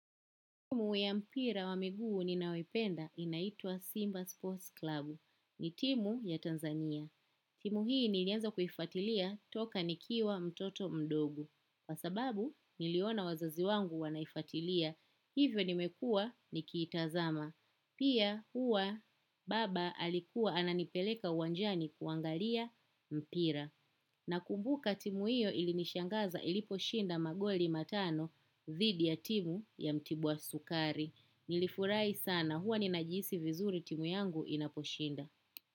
Timu ya mpira wa miguu ninayoipenda inaitwa Simba Sports Club. Ni timu ya Tanzania. Timu hii nilianza kuifatilia toka nikiwa mtoto mdogo. Kwa sababu niliona wazazi wangu wana ifatilia. Hivyo nimekuwa nikitazama. Pia huwa baba alikuwa ananipeleka uwanjani kuangalia mpira. Nakumbuka timu hiyo ili nishangaza iliposhinda magoli matano dhidi ya timu ya mtibu wa sukari. Nilifurahi sana huwa ninajihisi vizuri timu yangu inaposhinda.